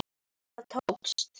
Þetta tókst!